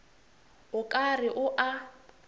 o ka re o a